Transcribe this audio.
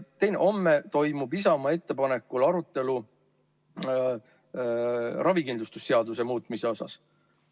Homme toimub Isamaa ettepanekul arutelu ravikindlustuse seaduse muutmise üle.